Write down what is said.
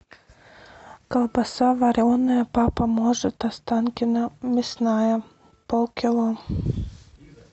колбаса вареная папа может останкино мясная полкило